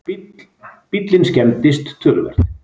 Bíllinn skemmdist töluvert